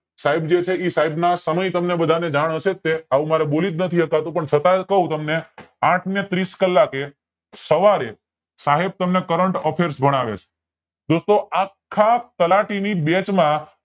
સાઇબ જે છે એ સાઇબ ના સમય તમને બધા ને જાણ હશે જ તે આવું મારે બોલી જ નથી શકાતું પણ છતાંય પણ ક્વ તમને આઠ ને ત્રીસ કલાકે સવારે સહેબ તમને current affairs ભણાવે છે દોસ્તો આખા તલાટી ની batch માં